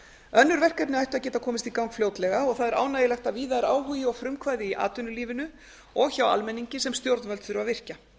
önnur verkefni ættu að geta komist í gang fljótlega og það er ánægjulegt að víða er áhugi og frumkvæði í atvinnulífinu og hjá almenningi sem stjórnvöld þurfa að virkja